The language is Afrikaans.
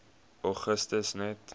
augustus net